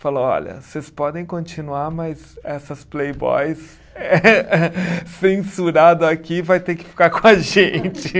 Falou, olha, vocês podem continuar, mas essas Playboys censurado aqui vai ter que ficar com a gente.